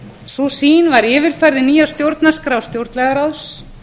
sú sýn var yfirfærð í nýja stjórnarskrá stjórnlagaráðs